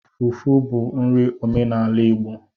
Fufu bụ nri omenala Igbo